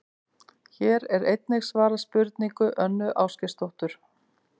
Hér er einnig svarað spurningu Önnu Ásgeirsdóttur: